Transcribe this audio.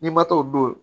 N'i ma taa o don